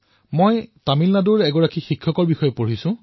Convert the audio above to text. মই তামিলনাডুৰ এগৰাকী শিক্ষকৰ বিষয়ে পঢ়িলো